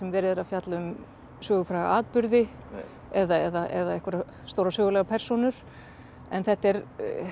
verið að fjalla um sögufræga atburði eða einhverjar stórar sögulegar persónur en þetta er